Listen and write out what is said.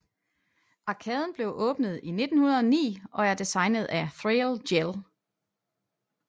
Arkaden blev åbnet i 1909 og er designet af Thrale Jell